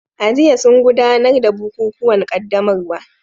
A jiya sun gudanar da bukukuwan qaddamarwa